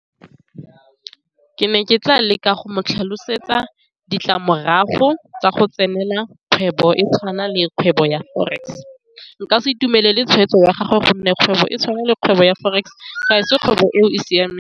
Ke ne ke tla leka go mo tlhalosetsa ditlamorago tsa go tsenela kgwebo e tshwana le kgwebo ya forex, nka se itumelele tshwetso ya gagwe gonne kgwebo e tshwana le kgwebo ya forex ga se kgwebo eo e siameng.